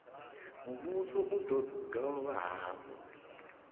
muvhuso u do dovha hafhu